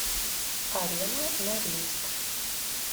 арена норильск